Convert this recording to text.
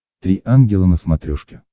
три ангела на смотрешке